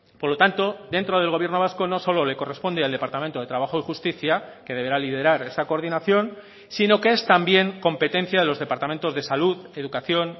por lo tanto dentro del gobierno vasco no solo le corresponde al departamento de trabajo y justicia que deberá liderar esa coordinación sino que es también competencia de los departamentos de salud educación